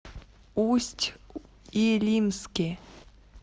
усть илимске